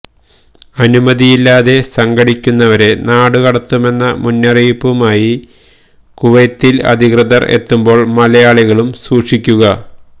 അനുമതിയില്ലാതെ സംഘടിക്കുന്നവരെ നാടുകടത്തുമെന്ന മുന്നറിയിപ്പുമായി കുവൈത്തിൽ അധികൃതർ എത്തുമ്പോൾ മലയാളികളും സൂക്ഷിക്കുക